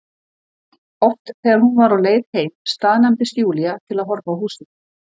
Oft þegar hún var á leið heim staðnæmdist Júlía til að horfa á húsið.